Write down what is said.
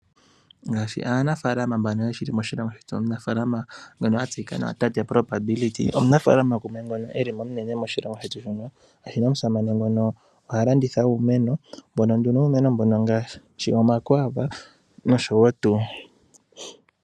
Ngaashi aanafaalama mbano ye li moshilongo shetu, omunafaalama nguno ha ithanwa Tate Probability, omunafaalama gumwe ngono e li omunene moshilongo shetu muno. Omusamane nguno oha landitha uumeno, wumwe womuumenongaashi omakwaava nosho tuu.